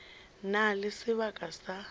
na le sebaka sa go